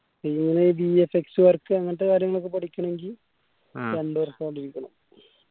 എങ്ങെനെ VFXwork വരക്ക അങ്ങനത്തെ കാര്യങ്ങളൊക്കെ പഠിക്കണെങ്കി വർഷ അധീകം